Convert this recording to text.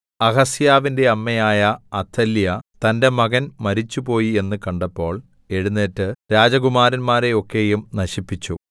അഹസ്യാവിന്റെ അമ്മയായ അഥല്യാ തന്റെ മകൻ മരിച്ചുപോയി എന്ന് കണ്ടപ്പോൾ എഴുന്നേറ്റ് രാജകുമാരന്മാരെ ഒക്കെയും നശിപ്പിച്ചു